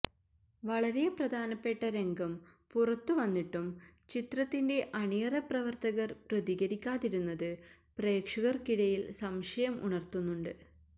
വളരെ പ്രധാനപ്പെട്ട രംഗം പുറത്തുവന്നിട്ടും ചിത്രത്തിന്റെ അണിയറ പ്രവര്ത്തകര് പ്രതികരിക്കാതിരുന്നത് പ്രേക്ഷകര്ക്കിടയില് സംശയം ഉണര്ത്തുന്നുണ്ട്